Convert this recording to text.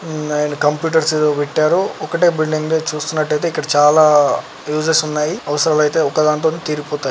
హ్మ్ and computers ఏదో పెట్టారు ఒకటే బిల్డింగ్ ది అయితే చూస్తున్నట్టయితే ఇక్కడ చాలా యూజెస్ ఉన్నాయి అవసరాలైతే ఒక్కదానితోని తీరిపోతాయి.